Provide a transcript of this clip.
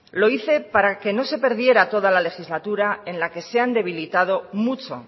lo hice para que no se perdiera toda la legislatura en la que se han debilitado mucho